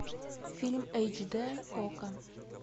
фильм эйч дэ окко